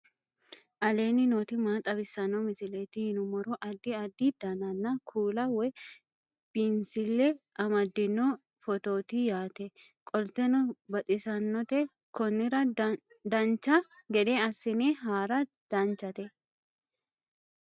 aleenni nooti maa xawisanno misileeti yinummoro addi addi dananna kuula woy biinsille amaddino footooti yaate qoltenno baxissannote konnira dancha gede assine haara danchate